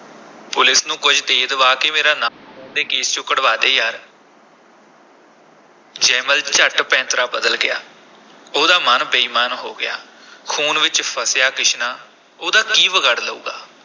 Police ਨੂੰ ਕੁਝ ਦੇ ਦਿਵਾ ਕੇ ਮੇਰਾ ਨਾਂ ਖੂਨ ਦੇ ਕੇਸ ’ਚੋਂ ਕਢਵਾ ਦੇ ਯਾਰ ਜੈਮਲ ਝੱਟ ਪੈਂਤਰਾ ਬਦਲ ਗਿਆ, ਉਹਦਾ ਮਨ ਬੇਈਮਾਨ ਹੋ ਗਿਆ ਖੂਨ ਵਿਚ ਫਸਿਆ ਕਿਸ਼ਨਾ ਉਹਦਾ ਕੀ ਵਿਗਾੜ ਲਊਗਾ।